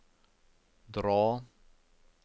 dra